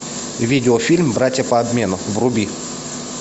видеофильм братья по обмену вруби